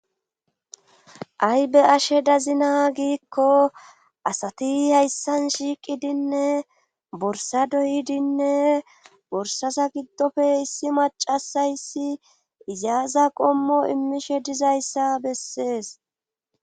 Aybe ashe dazina giikko asati hayssan shiiqidinne borsado yidinne borsasa giddofe issi macasayssi izaaza qommo immishe dizayssa bessees.